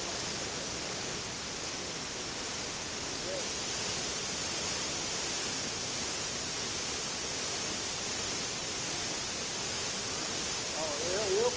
Marmita sempre na cozinha de de comida, entendeu? E quando você foi comer na lá na na cozinha do funcionário, você pediu, eles que te convidaram? Não, eu eu.